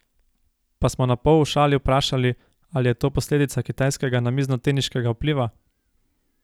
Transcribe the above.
Pa smo napol v šali vprašali, ali je to posledica kitajskega namiznoteniškega vpliva?